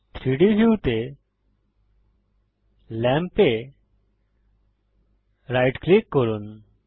3ডি ভিউতে ল্যাম্প এ রাইট ক্লিক করুন